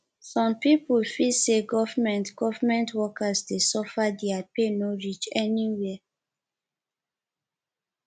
some pipo feel sey government government workers dey suffer their pay no reach anywhere